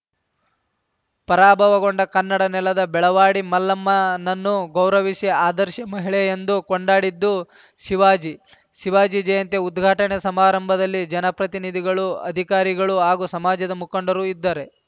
ಪರಾಭವಗೊಂಡ ಕನ್ನಡ ನೆಲದ ಬೆಳವಾಡಿ ಮಲ್ಲಮ್ಮನನ್ನು ಗೌರವಿಸಿ ಆದರ್ಶ ಮಹಿಳೆಯೆಂದು ಕೊಂಡಾಡಿದ್ದು ಶಿವಾಜಿ ಶಿವಾಜಿ ಜಯಂತಿ ಉದ್ಘಾಟನಾ ಸಮಾರಂಭದಲ್ಲಿ ಜನಪ್ರತಿನಿಧಿಗಳು ಅಧಿಕಾರಿಗಳು ಹಾಗೂ ಸಮಾಜದ ಮುಖಂಡರು ಇದ್ದಾರೆ